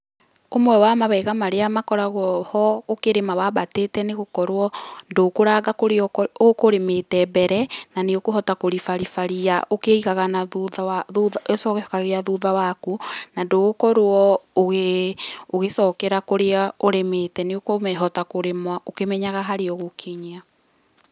Ũmwe wa mawega marĩa makoragwo ho ũkĩrĩma wambatĩte nĩ gũkorwo ndũkũranga kũrĩa ũkũrĩmĩte mbere, na nĩ ũkũhota kũribariba ria ũkĩigaga na thutha, ũgĩcokagia thutha waku, na ndũgũkorwo ũgĩ, ũgĩcokera kũrĩa ũrĩmĩte nĩũkũhota kũrĩma ũkĩmenyaga harĩa ũgũkinyia.